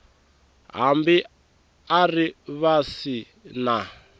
hambi a ri vasi na